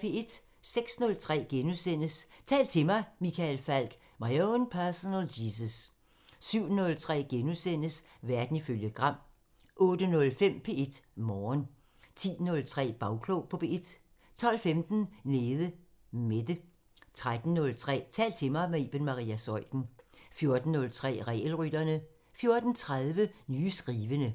06:03: Tal til mig – Michael Falch: My own personal Jesus * 07:03: Verden ifølge Gram * 08:05: P1 Morgen 10:03: Bagklog på P1 12:15: Nede Mette 13:03: Tal til mig – med Iben Maria Zeuthen 14:03: Regelrytterne 14:30: Nye skrivende